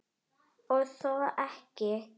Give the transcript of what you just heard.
Og þó ekki.